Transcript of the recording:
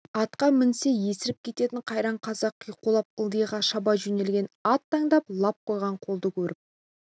атқа мінсе есіріп кететін қайран қазақ қиқулап ылдиға шаба жөнелген ат таңдап лап қойған қолды көріп